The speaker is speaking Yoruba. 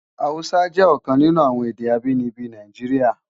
Hàúsá jè òkan ninú awòn èdè ábìníbi Náijiriá